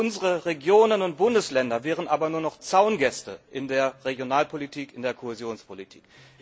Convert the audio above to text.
Unsere Regionen und Bundesländer wären aber nur noch Zaungäste in der Regionalpolitik, in der Kohäsionspolitik.